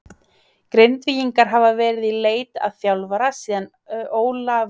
Grindvíkingar hafa verið í leit að þjálfara síðan Ólafur Örn Bjarnason hætti fyrir mánuði síðan.